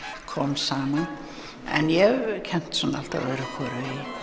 kom saman en ég hef kennt alltaf öðru hvoru